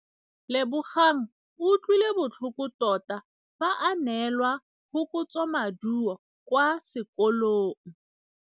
Lebogang o utlwile botlhoko tota fa a neelwa phokotsômaduô kwa sekolong.